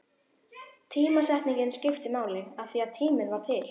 Tímasetningin skipti máli, af því tíminn var til.